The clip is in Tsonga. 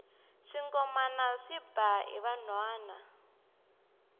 swingomana swi ba hi vanhwana